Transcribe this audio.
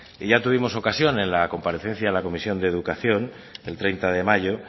ya tuvimos ocasión en la comparecencia en la comisión de educación el treinta de mayo